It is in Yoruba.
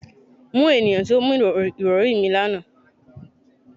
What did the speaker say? Mu eniyan ti o mu irọri mi, lana